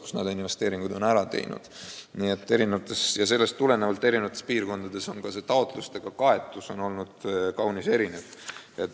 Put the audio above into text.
Sellest tulenevalt ongi eri piirkondadest taotlusi tulnud erinev arv.